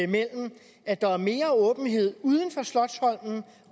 mellem at der er mere åbenhed uden for slotsholmen